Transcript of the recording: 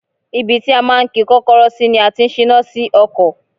Ibi tí a máa ń ki Kọ́kọ́rọ́ sí ni a ti ń síná sí ọkọ̀.